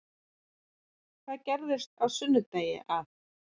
Það gerðist á sunnudegi að